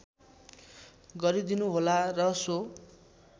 गरिदिनुहोला र सो